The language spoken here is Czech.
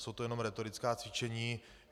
Jsou to jenom rétorická cvičení.